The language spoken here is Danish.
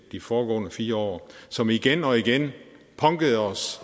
de foregående fire år som igen og igen punkede os